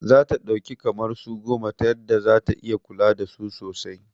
Zata ɗauki kamar su goma ta yadda zata iya kula dasu sosai